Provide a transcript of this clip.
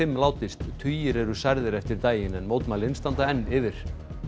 látist tugir eru særðir eftir daginn en mótmælin standa enn yfir